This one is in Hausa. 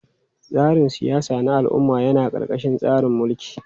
Tsarin siyasa na al'umma yana ƙarƙashin tsarin mulki.